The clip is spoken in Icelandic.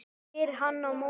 spyr hann á móti.